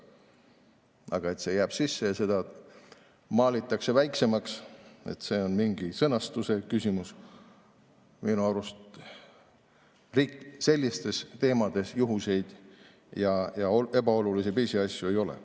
Aga see jääb sisse ja seda maalitakse väiksemaks, see on mingi sõnastuse küsimus – minu arust selliste teemade puhul juhuseid ja ebaolulisi pisiasju ei ole.